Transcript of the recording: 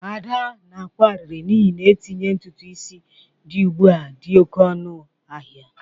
Ada na-akwa arịrị n'ihi na itinye ntutu isi dị ugbu a dị oke ọnụ n'ahịa